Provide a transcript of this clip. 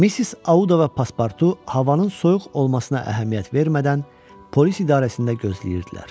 Missis Audava pasportu havanın soyuq olmasına əhəmiyyət vermədən polis idarəsində gözləyirdilər.